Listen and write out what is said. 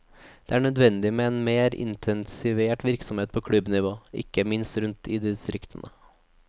Det er nødvendig med en mer intensivert virksomhet på klubbnivå, ikke minst rundt i distriktene.